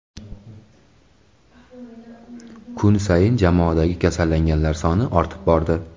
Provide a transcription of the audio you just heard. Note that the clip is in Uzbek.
Kun sayin jamoadagi kasallanganlar soni ortib bordi.